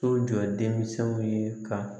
So jɔ denmisɛnw ye ka